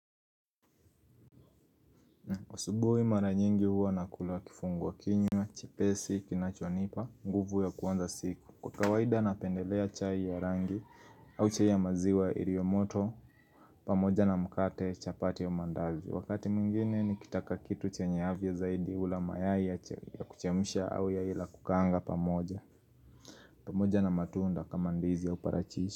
Asubuhi mara nyingi huwa nakula kifungua kinywa, chepesi, kinachonipa, nguvu ya kuanza siku Kwa kawaida napendelea chai ya rangi au chai ya maziwa ilio moto pamoja na mkate chapati ya mandazi Wakati mwingine nikitaka kitu chenye afya zaidi ula mayai ya kuchemsha au ya ila kukaanga pamoja pamoja na matunda kama ndizi au parachichi.